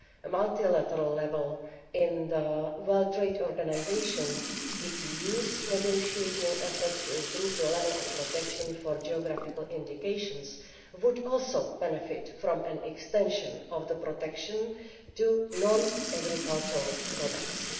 At multilateral level in the World Trade Organisation, the EU's negotiating efforts to improve the level of protection for geographical indications would also benefit from an extension of the protection to non agricultural products.